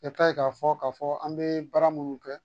I ta ye k'a fɔ k'a fɔ an bɛ baara minnu kɛ